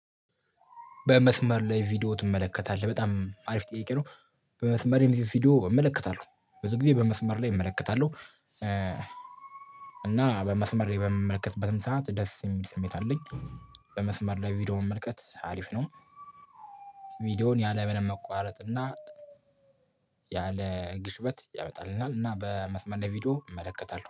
በመስመር ላይ ቪዲዮ ትመለከታለህ? በጣም አሪፍ ጥያቄ ነው በመስመር ላይ ቪዲዮ እመለከታለሁ ብዙ ጊዜ በመስመር ላይ እመለከታለሁ። እና በመስመር ላይ በምመለከትበትም ሰዓት ደስ የሚል ስሜት አለኝ በመስመር ላይ ቪዲዮ መመልከት አሪፍ ነው። ቪዲዮውን ያለምንም መቋረጥ እና ያለ ግሽበት ያመጣልናል እና በመስመር ላይ ቪዲዮ እመለከታለሁ።